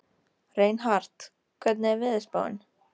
Reinhart, hvernig er veðurspáin?